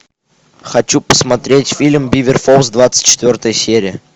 хочу посмотреть фильм бивер фолс двадцать четвертая серия